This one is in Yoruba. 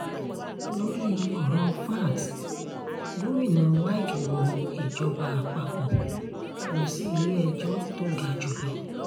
lórí ọ̀rọ̀ vat gomina wike wọ ìjọba àpapọ̀ lọ sílé-ẹjọ́ tó ga jù lọ